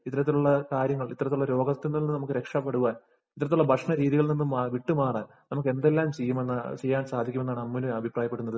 ഇത്തരത്തിലുള്ള കാര്യങ്ങള്‍, ഇത്തരത്തില്‍ നിന്നുള്ള രോഗത്തില്‍ നിന്ന് നമുക്ക് രക്ഷപ്പെടുവാന്‍, ഇത്തരത്തിലുള്ള ഭക്ഷണ രീതിയില്‍ നിന്ന് വിട്ടുമാറാന്‍ നമുക്ക് എന്തെല്ലാം ചെയ്യുമെന്ന് ചെയ്യാന്‍ സാധിക്കുമെന്നാണ് അമ്മൂന് അഭിപ്രായപ്പെടുന്നത്.